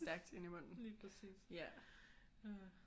Stærkt ind i munden